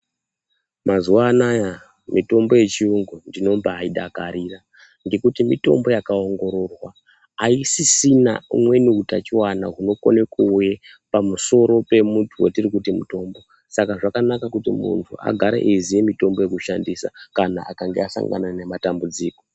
Mazuwa anaya mitombo yechiyungu ndinombai dakarira ngekuti mitombo yakaongororwa aisisina umweni utachiwana hunokone kuuya pamusoro pemuntu wetiri kuti mutombo saka zvakanaka kuti muntu agare eziyemitombo kana akange asangana nematambudziko